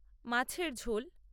মাছের ঝোল